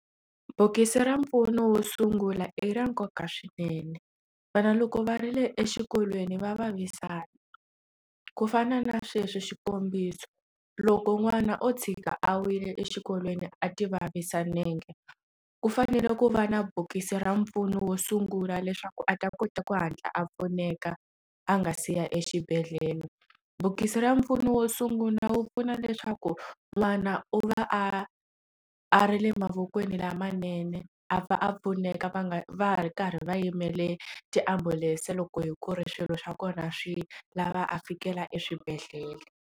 Bokisi ra mpfuno wo sungula i ra nkoka swinene vana loko va ri le exikolweni va vavisana ku fana na sweswo xikombiso loko n'wana o tshika a wile exikolweni a ti vavisa nenge ku fanele ku va na bokisi ra mpfuno wo sungula leswaku a ta kota ku hatla a pfuneka a nga siya exibedhlele bokisi ra mpfuno wo sungula wu pfuna leswaku n'wana u va a a ri le mavokweni lamanene a va a pfuneka va nga va ha ri karhi va yimele tiambulense loko hi ku ri swilo swa kona swi lava a fikela eswibedhlele.